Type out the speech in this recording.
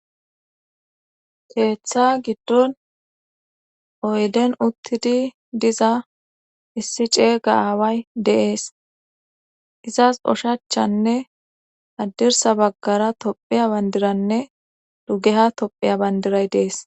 Keeththa giddon oyden uttidi diza issi ceeyga aaway deees izas oshachchanne addirsa baggara tophiya bandiranne dugeha tophiya bandiray dees.